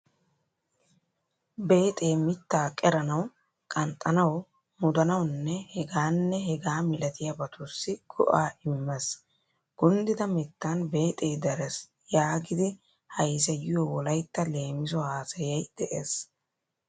Beexee mittaa qeranawu, qanxxanawu, mudanawunne hegaanne hegaa milatiyabatussi go"aa immees. "Kunddida mittan beexee darees" yaagidi hayseyiyo Wolaytta leemiso haasayay de"ees.